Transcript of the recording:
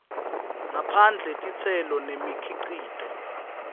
ngaphandle titselo nemikhicito